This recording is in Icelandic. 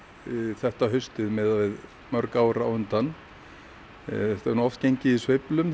þetta haustið miðað við mörg ár á undan þetta hefur oft gengið í sveiflum